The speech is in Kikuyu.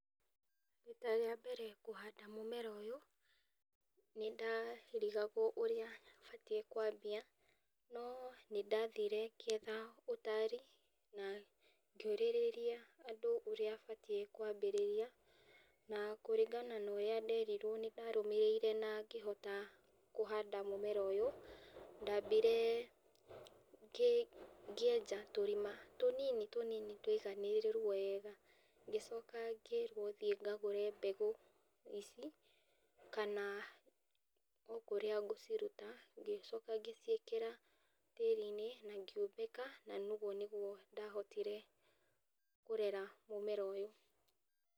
Rita rĩa mbere kũhanda mũmera ũyũ, nĩ ndarigagwo ũrĩa batiĩ nĩ kwambia, no nĩndathire ngĩetha ũtari, na ngĩũrĩrĩria andũ ũrĩa batiĩ nĩ kwambĩrĩria, na kũringana na ũrĩa nderirwo nĩ ndathire na ngĩhota kũhanda mũmera ũyũ, ndambire ngĩ ngĩenja tũrima tũnini tũnini tũiganĩrĩru wega, ngĩcoka ngĩrwo thiĩ ngagũre mbegũ ici , kana okũrĩa ngũciruta, ngĩcoka ngĩciĩkĩra tĩri-inĩ na ngĩumbĩka, na ũguo nĩguo ndahotire kũrera mũmera ũyũ.